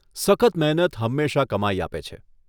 સખત મહેનત હંમેશા કમાઈ આપે છે.